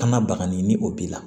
Kana bagani ni o b'i la